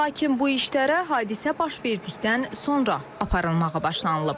Lakin bu işlərə hadisə baş verdikdən sonra aparılmağa başlanılıb.